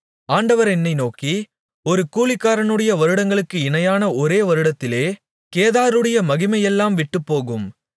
ஆண்டவர் என்னை நோக்கி ஒரு கூலிக்காரனுடைய வருடங்களுக்கு இணையான ஒரே வருடத்திலே கேதாருடைய மகிமையெல்லாம் விட்டுப்போகும்